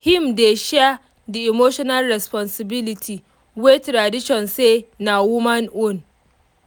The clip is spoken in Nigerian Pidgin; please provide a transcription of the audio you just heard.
him dey share the emotional respponsibilities wey traditiojn say na woman own